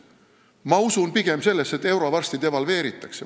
Ma usun pigem sellesse, et euro varsti devalveeritakse.